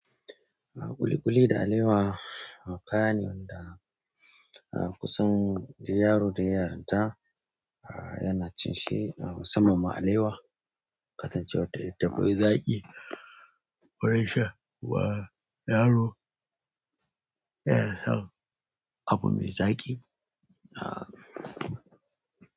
A ƙuliƙuli da alewa, kaya ne wanda kusan duk yaro da yayi yaranta a yana cin shi musamman ma alewa. Kasancewar ta mai zaƙi, gurin sha wa yaro yana son abu mai zaƙi a.